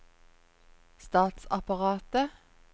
statsapparatet